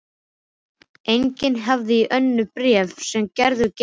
Einnig hafði ég önnur bréf sem Gerður geymdi.